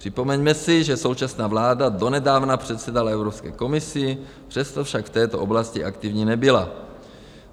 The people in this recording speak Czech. Připomeňme si, že současná vláda donedávna předsedala Evropské komisi, přesto však v této oblasti aktivní nebyla.